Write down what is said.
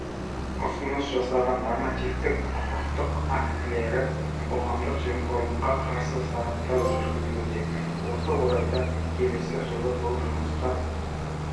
ұсыныс жасаған нормативтік-құқықтық актілерді қоғамдық жемқорлыққа қарсы сараптау жүргізілуде осы орайда келесі жылы бұл жұмысқа